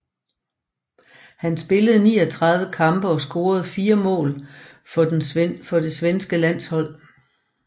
Han spillede 39 kampe og scorede fire mål for det svenske landshold